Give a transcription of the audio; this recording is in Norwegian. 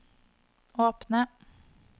åpne